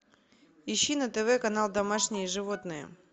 ищи на тв канал домашние животные